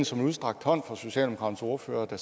som en udstrakt hånd fra socialdemokraternes ordfører der